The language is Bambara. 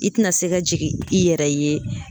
I tɛna se ka jigin i yɛrɛ ye.